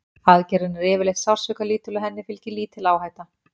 Aðgerðin er yfirleitt sársaukalítil og henni fylgir lítil áhætta.